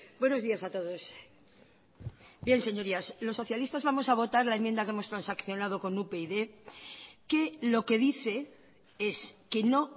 buenos días a todos bien señorías los socialistas vamos a votar la enmienda que hemos transaccionado con upyd que lo que dice es que no